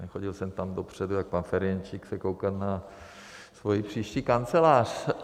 Nechodil jsem tam dopředu jako pan Ferjenčík se koukat na svoji příští kancelář.